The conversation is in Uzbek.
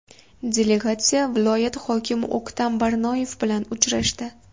Delegatsiya viloyat hokimi O‘ktam Barnoyev bilan uchrashdi.